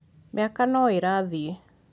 mĩaka no ĩrathiĩ